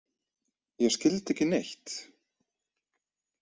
Ég skildi ekki neitt.